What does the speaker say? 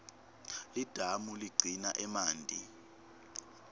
lidamu ligcina emanti